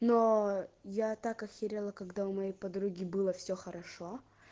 но я так охерела когда у моей подруги было все хорошо